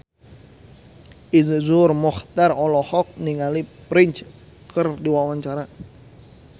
Iszur Muchtar olohok ningali Prince keur diwawancara